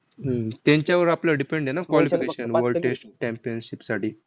हम्म त्यांच्यावर आपलं depend आहे ना qualification world test championship साठी?